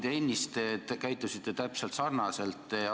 Muide, ennist te käitusite täpselt samamoodi.